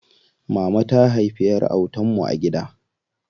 Mama ta haifi ƴar autan mu a gida.